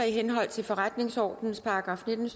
i henhold til forretningsordenens § nitten